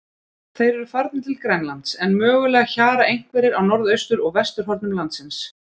Þeir eru farnir til Grænlands, en mögulega hjara einhverjir á norðaustur- og vesturhornum landsins.